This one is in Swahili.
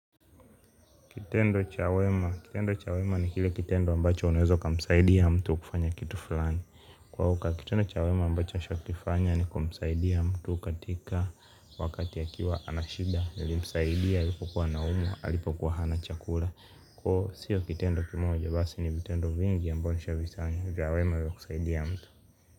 Kitendo cha wema kitendo cha wema ni kile kitendo ambacho unaweza ukamsaidia mtu kufanya kitu fulani kwa hivyo kitendo cha wema ambacho nishai kifanya ni kumsaidia mtu katika wakati akiwa ana shida nilimsaidia wakati alipokuwa anaumwa alipokuwa hana chakula sio kitendo kimoja basi ni vitendo vingi ambavyo nishai kuvifanya vya wema vya kumsaidia mtu.